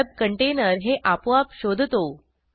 web container हे आपोआप शोधतो